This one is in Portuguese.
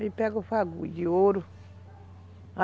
Aí pega o de ouro.